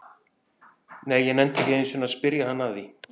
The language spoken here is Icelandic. Nei, ég nennti ekki einu sinni að spyrja hann að því